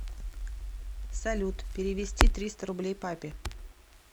салют перевести триста рублей папе